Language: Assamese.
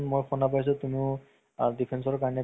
hall ত চোৱা আৰু mobile ত চোৱা different আছে ন